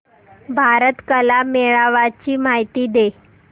भारत कला मेळावा ची माहिती दे